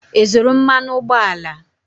Ị zụrụ mmanụ ụgbọala?